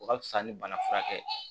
O ka fisa ni bana furakɛ